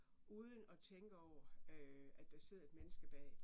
Uden og tænke over øh at der sidder et menneske bag